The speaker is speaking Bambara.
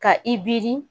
Ka i biri